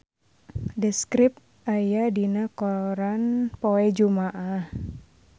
The Script aya dina koran poe Jumaah